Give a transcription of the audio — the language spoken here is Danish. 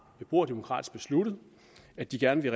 beboerdemokratisk besluttet at de gerne vil